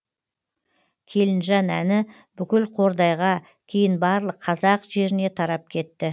келінжан әні бүкіл қордайға кейін барлық қазақ жеріне тарап кетті